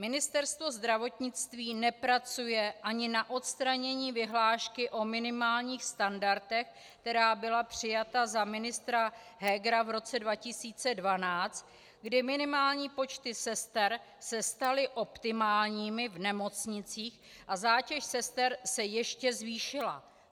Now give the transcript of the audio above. Ministerstvo zdravotnictví nepracuje ani na odstranění vyhlášky o minimálních standardech, která byla přijata za ministra Hegera v roce 2012, kdy minimální počty sester se staly optimálními v nemocnicích a zátěž sester se ještě zvýšila.